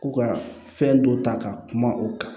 Ko ka fɛn dɔ ta ka kuma u kan